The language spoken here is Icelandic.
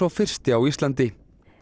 fyrsti á Íslandi